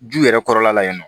Ju yɛrɛ kɔrɔla la yen nɔ